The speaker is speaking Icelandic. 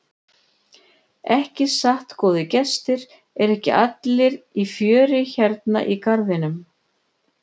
Ekki satt góðir gestir, eru ekki allir í fjöri hérna í garðinum?